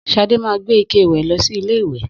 Sadé ma gbé ike ìwè lọ sí ilé ìwè